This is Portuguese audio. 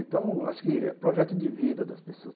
Então, acho que é projeto de vida das pessoas.